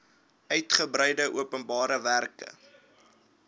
uigebreide openbare werke